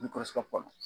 N kɔrɔ